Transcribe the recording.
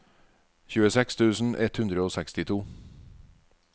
tjueseks tusen ett hundre og sekstito